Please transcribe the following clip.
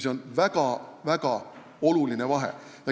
See on väga-väga oluline vahe.